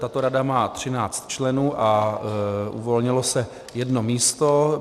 Tato rada má 13 členů a uvolnilo se jedno místo.